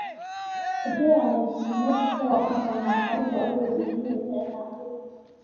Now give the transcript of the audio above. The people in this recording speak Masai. Egira laisilenok aaponaa faida ooroyiani enye anaake.